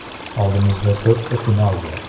Oldimizda to‘rtta final bor.